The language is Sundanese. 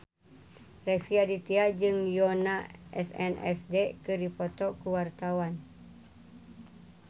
Rezky Aditya jeung Yoona SNSD keur dipoto ku wartawan